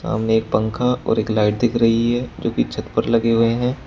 हमें एक पंखा और एक लाइट दिख रही है जो की छत पर लगे हुए हैं।